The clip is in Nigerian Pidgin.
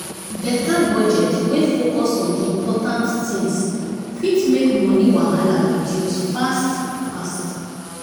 better budget wey focus on important things fit make money wahala reduce fast fast